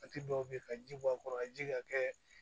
Waati dɔw be ye ka ji bɔ a kɔrɔ ka ji ka kɛ